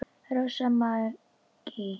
Rósa Maggý.